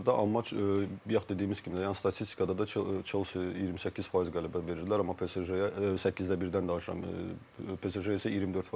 Amma bayaq dediyimiz kimi, yəni statistikada da Chelsea 28% qələbə verirdilər, amma PSG səkkizdə birdən danışıram, PSG isə 24%.